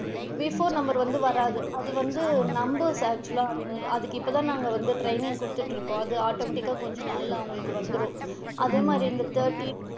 Before number வந்து வராது அது வந்து numbers actual லா அதுக்கு இப்போ தான் வந்து training குடுத்துட்டு இருக்கோம் அது automatic கா கொஞ்ச நாள்ல வந்து அவுங்களுக்கு வந்திடும். அதே மாதிரி இந்த thirteen,